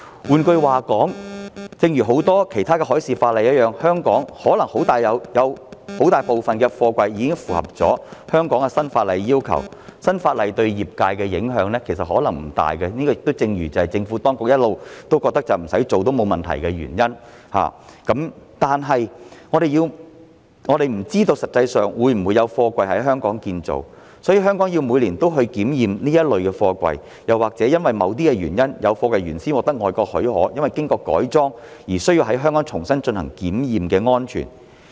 換言之，正如很多其他海事法例一樣，香港可能有很大部分的貨櫃已符合本港新法例的要求，其實新法例對業界的影響可能不大，這亦正是政府當局一直認為不處理也沒有大問題的原因，但我們不知道實際上會否有貨櫃在香港建造，所以香港每年也要檢驗這一類貨櫃，又或者因為某些原因，有貨櫃原先獲得外國發給批准，因經過改裝而需要在香港重新進行安全檢驗。